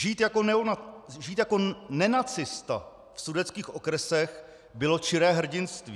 "Žít jako nenacista v sudetských okresech bylo čiré hrdinství."